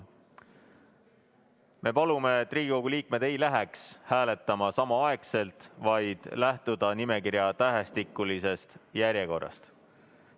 Me palume, et Riigikogu liikmed ei läheks hääletama samaaegselt, vaid lähtuksid nimekirja tähestikulisest järjekorrast.